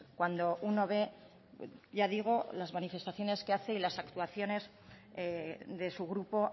cuando uno ve ya digo las manifestaciones que hace y las actuaciones de su grupo